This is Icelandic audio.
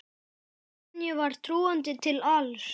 Sonju var trúandi til alls.